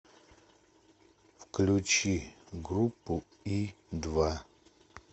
включи группу и два